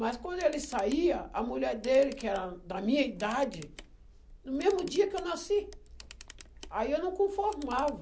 Mas quando ele saía, a mulher dele, que era da minha idade, no mesmo dia que eu nasci, aí eu não conformava.